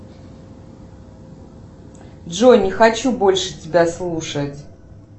джой не хочу больше тебя слушать